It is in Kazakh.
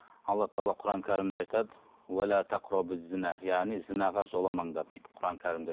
алла тағала құран кәрімде айтады яғни зінәға жоламаңдар дейді құран кәрімде